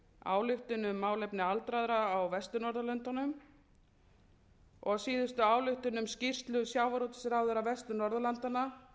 ályktun um málefni aldraðra á vestur norðurlöndum ályktun um skýrslu sjávarútvegsráðherra vestur norðurlanda um